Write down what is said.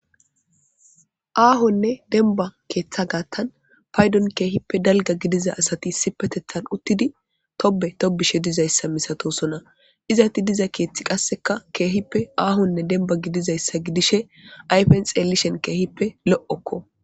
Aahonne dembba keeththa gaththan paydon keehippe dalgga gidiza asathi issippetheththan uththidi thobbe thobbishe dizayssa misathoosona; izanththi diza keeththikka keehippe aahonne dembba gidizayssa gidishee ayfen xeellishen keehippe lo7okkoo.